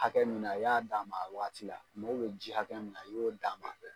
hakɛ min na i y'a d'a ma a wagati la a mago bɛ ji hakɛ min na i y'o d'a ma.